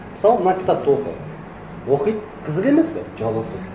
мысалы мына кітапты оқы оқиды қызық емес пе жабасыз